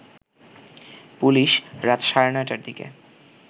police রাত সাড়ে ৯ টার দিকে